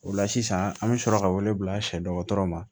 O la sisan an bɛ sɔrɔ ka wele bila sɛdɔgɔtɔrɔ ma